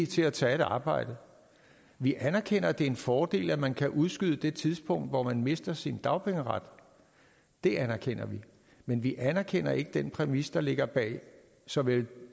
til at tage et arbejde vi anerkender at det er en fordel at man kan udskyde det tidspunkt hvor man mister sin dagpengeret det anerkender vi men vi anerkender ikke den præmis der ligger bag såvel